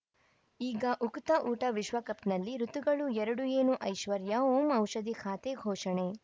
ಈಗ ಉಕುತ ಊಟ ವಿಶ್ವಕಪ್‌ನಲ್ಲಿ ಋತುಗಳು ಎರಡು ಏನು ಐಶ್ವರ್ಯಾ ಓಂ ಔಷಧಿ ಖಾತೆ ಘೋಷಣೆ